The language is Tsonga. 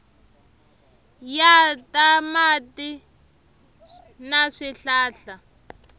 ya ta mati na swihlahla